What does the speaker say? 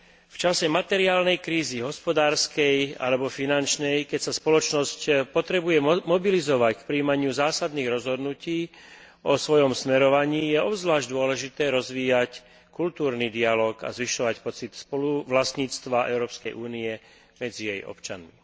V čase materiálnej krízy, hospodárskej alebo finančnej, keď sa spoločnosť potrebuje mobilizovať k prijímaniu zásadných rozhodnutí o svojom smerovaní, je obzvlášť dôležité rozvíjať kultúrny dialóg a zvyšovať pocit spoluvlastníctva Európskej únie medzi jej občanmi.